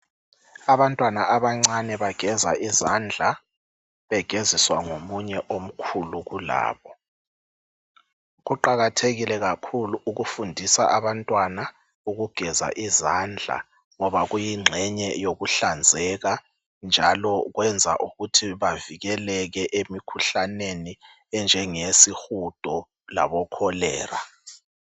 Abantwana abancane bageza izandla begeziswa ngomunye omkhulu kulabo. Kuqakathekile kakhulu ukufundisa abantwana ukugeza izandla ngoba uyingcenye yokuhlanzeka njalo kwenza ukuthi bavikeleke emikhuhlaneni enjengeyasihudo laboCholera.